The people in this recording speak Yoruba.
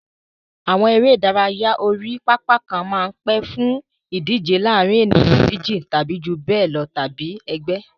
Àwọn eré ìdárayá orí pápá kan máa ń pè fún ìdíje láàárín ènìyàn méjì tàbí jù bẹ́ẹ̀ lọ tàbí ẹgbẹ́.